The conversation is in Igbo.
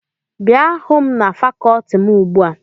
Bịa hụ m na fakọọti m ugbu a!